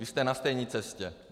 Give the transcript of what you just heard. Vy jste na stejné cestě.